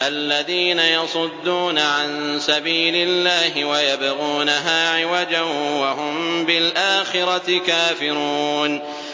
الَّذِينَ يَصُدُّونَ عَن سَبِيلِ اللَّهِ وَيَبْغُونَهَا عِوَجًا وَهُم بِالْآخِرَةِ كَافِرُونَ